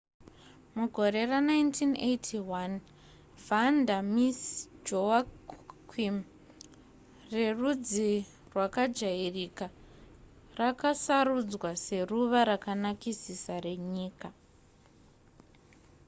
mugore ra1981 vanda miss joaquim rerudzi rwakajairika rakasarudzwa seruva rakanakisisa renyika